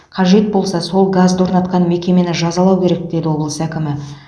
қажет болса сол газды орнатқан мекемені жазалау керек деді облыс әкімі